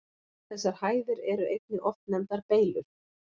Þessar hæðir eru einnig oft nefndar Beylur.